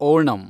Onam